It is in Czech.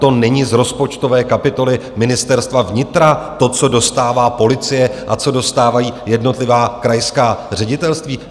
To není z rozpočtové kapitoly Ministerstva vnitra, to, co dostává policie a co dostávají jednotlivá krajská ředitelství?